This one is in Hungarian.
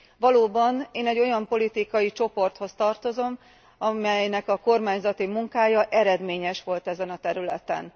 Valóban, én egy olyan politikai csoporthoz tartozom, amelynek a kormányzati munkája eredményes volt ezen a területen.